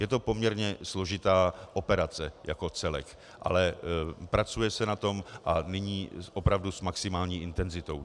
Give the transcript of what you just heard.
Je to poměrně složitá operace jako celek, ale pracuje se na tom a nyní opravdu s maximální intenzitou.